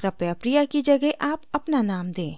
कृपया priya की जगह अपना name दें